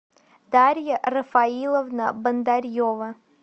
дарья рафаиловна бондарьева